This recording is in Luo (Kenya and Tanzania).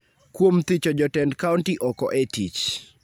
kuom thicho jotend kaonti oko e tich.